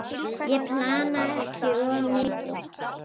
Ég plana ekki of mikið.